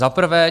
Za prvé.